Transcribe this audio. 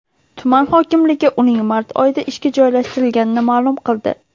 Tuman hokimligi uning mart oyida ishga joylashtirilganini ma’lum qildi.